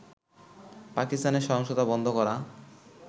পাকিস্তানে সহিংসতা বন্ধ করা